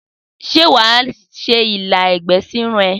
Sé wàá sè ilá egbè sirun e?